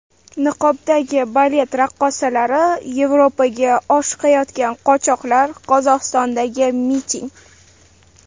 Niqobdagi balet raqqosalari, Yevropaga oshiqayotgan qochoqlar, Qozog‘istondagi miting.